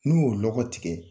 N'u y'o lɔgɔ tigɛ,